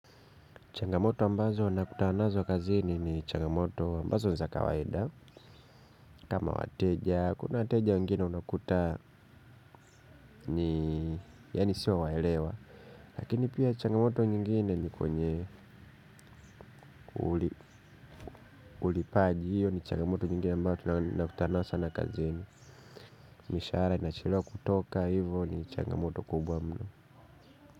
Changamoto ambazo nakutana nazo kazini ni changamoto ambazo ni za kawaida. Kama wateja, kuna wateja wengine unakuta ni yaani sio waelewa. Lakini pia changamoto nyingine ni kwenye ulipaji hiyo ni changamoto nyingine ambayo nakutana nayo sana kazini. Mishahara inachelewa kutoka hivo ni changamoto kubwa mno.